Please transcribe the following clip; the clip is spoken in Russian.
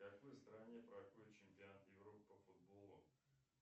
в какой стране проходит чемпионат европы по футболу